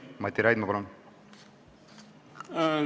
Mati Raidma, palun!